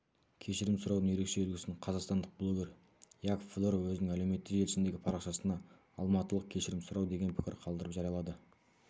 кешірім сұраудың ерекше үлгісін қазақстандық блогер яков фдоров өзінің әлеуметтік желісіндегі парақшасына алматылық кешірім сұрау деген пікір қалдырып жариялады